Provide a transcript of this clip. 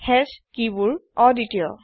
hash কিবোৰ অদ্বিতিয়